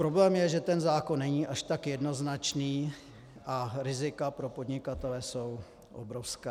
Problém je, že ten zákon není až tak jednoznačný a rizika pro podnikatele jsou obrovská.